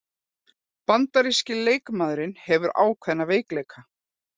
Bandaríski leikmaðurinn hefur ákveðna veikleika